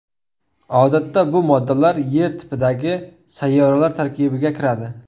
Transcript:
Odatda bu moddalar Yer tipidagi sayyoralar tarkibiga kiradi.